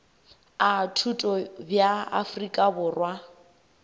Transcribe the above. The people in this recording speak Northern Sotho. a thuto bja afrika borwa